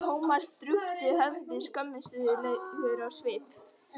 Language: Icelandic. Thomas drúpti höfði, skömmustulegur á svip.